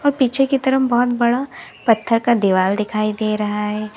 और पीछे की तरफ बहुत बड़ा पत्थर का दीवाल दिखाई दे रहा है।